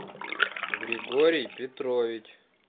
григорий петрович